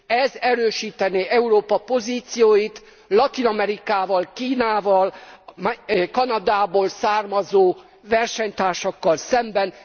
Ez erősítené Európa pozícióit Latin Amerikával, Kínával, a Kanadából származó versenytársakkal szemben.